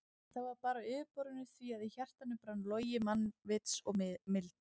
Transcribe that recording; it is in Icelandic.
En það var bara á yfirborðinu því að í hjartanu brann logi mannvits og mildi.